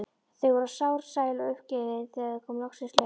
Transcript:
Þau voru sár, sæl og uppgefin þegar þeim loksins lauk.